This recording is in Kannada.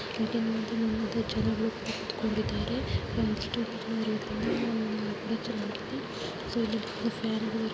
ನೀವ್ ನೋಡತಾ ಇದ್ದೀರಾ ಇದು ಒಂದು ಚುರ್ಚು ಚರ್ಚ್ನಲ್ಲಿ ಯಾವ ರೀತಿಯಲ್ಲಿ ಕುತ್ಕೋಕೊಂಡಿದ್ದಾರೇ ಬಹಳಷ್ಟು ಜನರು ಇದ್ದಾರೆ --